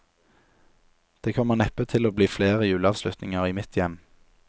Det kommer neppe til å bli flere juleavslutninger i mitt hjem.